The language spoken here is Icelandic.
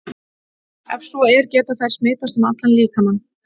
Ef svo er, geta þær smitast um allan líkamann?